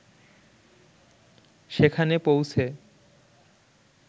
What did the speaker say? সেখানে পৌঁছে